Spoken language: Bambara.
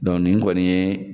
Dɔn nin kɔni ye